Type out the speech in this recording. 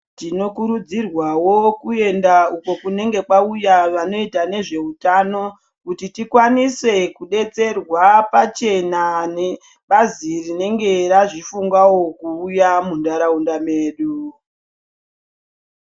Tinokurudzirwavo kuenda uko kunenge kwauya vanoita nezvehutano. Kuti tikwanise kubetserwa pachena nebazi rinenge razvifungavo kuuya muntaraunda medu.